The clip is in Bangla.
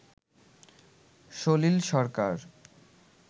সলিল সরকার